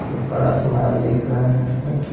ऊपर आसमान दिख रहा है।